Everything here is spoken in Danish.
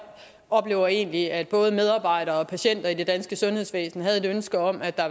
oplever egentlig at både medarbejdere og patienter i det danske sundhedsvæsen har et ønske om at der